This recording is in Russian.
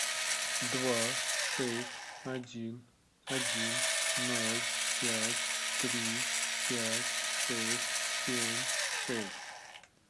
два шесть один один ноль пять три пять шесть семь шесть